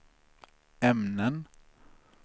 ämnen